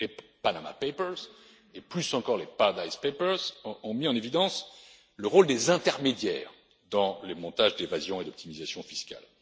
Les Panama Papers et plus encore les Paradise Papers ont mis en évidence le rôle des intermédiaires dans les montages d'évasion et d'optimisation fiscales.